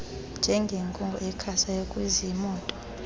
njengenkungu ekhasayo kuziimoto